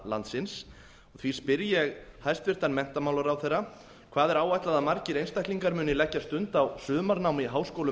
landsins því spyr ég hæstvirtan menntamálaráðherra fyrstu hvað er áætlað að margir einstaklingar muni leggja stund á sumarnám í háskólum